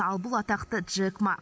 ал бұл атақты джек ма